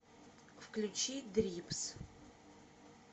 включи дрипс